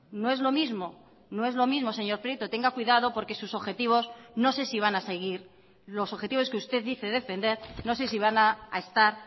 no es lo mismo no es lo mismo señor prieto tenga cuidado porque sus objetivos no sé si van a seguir los objetivos que usted dice defender no sé si van a estar